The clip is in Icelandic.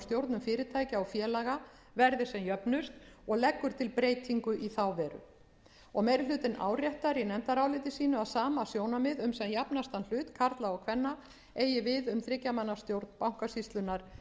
stjórnum fyrirtækja og félaga verði sem jöfnust og leggur til breytingu í þá veru meiri hlutinn áréttar í nefndaráliti sínu að sama sjónarmið um sem jafnastan hlut karla og kvenna eigi við um þriggja manna stjórn bankasýslunnar sem